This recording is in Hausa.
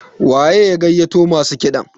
waye ya gaiyato masu kiɗan?